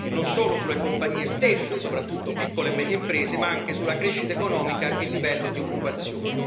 non solo sulle compagnie stesse, soprattutto piccole e medie imprese, ma anche sulla crescita economica e il livello di occupazione.